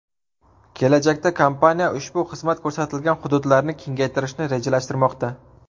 Kelajakda kompaniya ushbu xizmat ko‘rsatilgan hududlarni kengaytirishni rejalashtirmoqda.